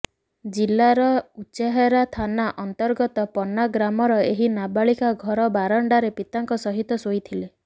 ଜିଲାର ଉଚେହରା ଥାନା ଅନ୍ତର୍ଗତ ପନ୍ନା ଗ୍ରାମର ଏହି ନାବାଳିକା ଘର ବାରଣ୍ଡାରେ ପିତାଙ୍କ ସହିତ ଶୋଇଥିଲେ